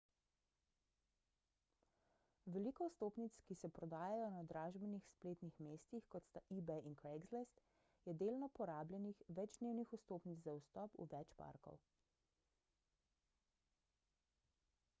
veliko vstopnic ki se prodajajo na dražbenih spletnih mestih kot sta ebay in craigslist je delno porabljenih večdnevnih vstopnic za vstop v več parkov